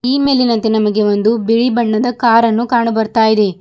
ಈ ಮೇಲಿನಂತೆ ನಮಗೆ ಒಂದು ಬಿಳಿ ಬಣ್ಣದ ಕಾರ್ ಅನ್ನು ಕಾಣು ಬರ್ತಾಇದೇ.